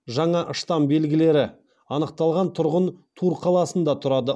жаңа штамм белгілері анықталған тұрғын тур қаласында тұрады